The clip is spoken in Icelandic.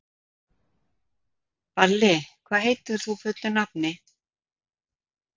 Balli, hvað heitir þú fullu nafni?